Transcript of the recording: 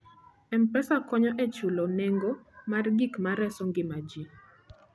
M-Pesa konyo e chulo nengo mar gik ma reso ngima ji.